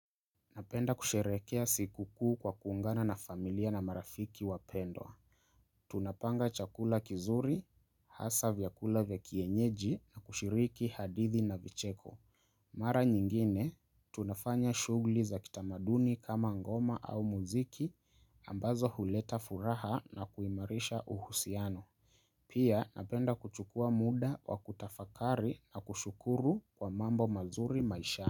Napenda kusherehekea sikukuu kwa kuungana na familia na marafiki wapendwa. Tunapanga chakula kizuri, hasa vyakula vya kienyeji na kushiriki hadithi na vicheko. Mara nyingine, tunafanya shughli za kitamaduni kama ngoma au muziki ambazo huleta furaha na kuimarisha uhusiano. Pia napenda kuchukua muda wa kutafakari na kushukuru kwa mambo mazuri maishani.